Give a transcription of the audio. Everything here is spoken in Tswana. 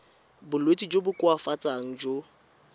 bolwetsi jo bo koafatsang jo